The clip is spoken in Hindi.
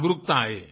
जागरूकता आए